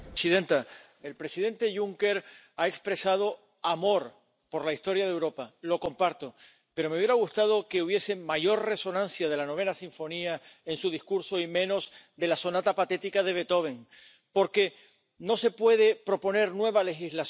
Domnule președinte Juncker, domnule comisar Timmermans, sunt de acord cu ceea ce ați spus ne trebuie o Europă unită, o unitate monetară, patriotism.